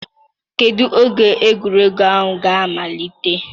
Kedu oge egwuregwu ahụ ga-amalite?